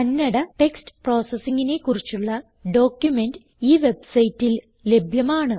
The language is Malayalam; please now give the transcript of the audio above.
കന്നഡ ടെക്സ്റ്റ് പ്രോസസിങ്ങിനെ കുറിച്ചുള്ള ഡോക്യുമെന്റ് ഈ വെബ്സൈറ്റിൽ ലഭ്യമാണ്